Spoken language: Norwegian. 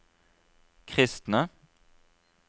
kristne